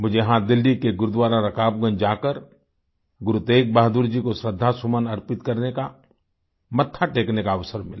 मुझे यहाँ दिल्ली में गुरुद्वारा रकाबगंज जाकर गुरु तेग बहादुर जी को श्रद्धा सुमन अर्पित करने का मत्था टेकने का अवसर मिला